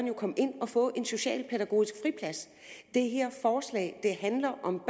jo komme ind og få en socialpædagogisk friplads det her forslag handler om